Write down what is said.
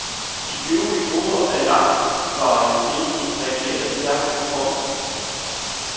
De øvrige grupper af langvarigt ledige reagerede stærkt og prompte.